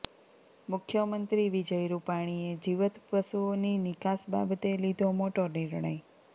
મુખ્યમંત્રી વિજય રૂપાણીએ જીવીત પશુઓની નિકાસ બાબતે લીધો મોટો નિર્ણય